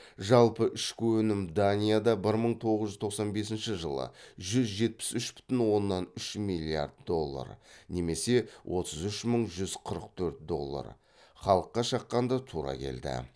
жалпы ішкі өнім данияда бір мың тоғыз жүз тоқсан бесінші жылы жүз жетпіс үш бүтін оннан үш миллиард доллар немесе отыз үш мың жүз қырық төрт доллар халыққа шаққанда тура келді